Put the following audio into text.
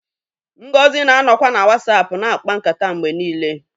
Ngozi na-anọkwa na WhatsApp na-akpa nkata mgbe niile